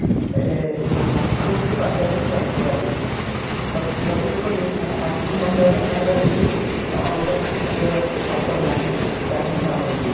ଏ ଏଇ first food କୁ କରିକି ଚାଲିଛନ୍ତି ଆଗକୁ ସତେ ଯେପରି first food ନ ଖାଇବା ଦ୍ଵାରା ତାଙ୍କର ଆଉ କିଛି ଅଲଗା କିଛି ଖାଦ୍ୟ ପସନ୍ଦ ନାହିଁ